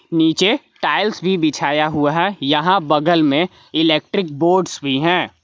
नीचे टाइल्स भी बिछाया हुआ है यहां बगल में इलेक्ट्रिक बोर्ड्स भी हैं।